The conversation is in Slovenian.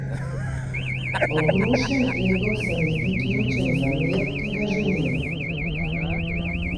Obrušen ego se mi zdi ključen za mir, ki ga želim.